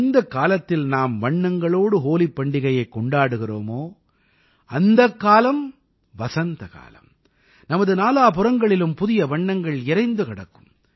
எந்தக் காலத்தில் நாம் வண்ணங்களோடு ஹோலிப் பண்டிகையைக் கொண்டாடுகிறோமோ அந்தக் காலம் வசந்த காலம் நமது நாலாபுறங்களிலும் புதிய வண்ணங்கள் இரைந்து கிடக்கும்